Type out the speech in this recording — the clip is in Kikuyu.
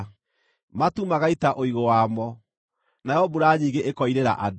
matu magaita ũigũ wamo, nayo mbura nyingĩ ĩkoirĩra andũ.